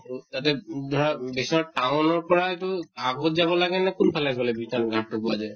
ত তাতে উম ধৰা বিশ্বনাথ town ৰ পৰা তো আগত যাব লাগে নে কোন্ফালে গʼলে বিশ্বনাথ ঘাট্ টো পোৱা যায়?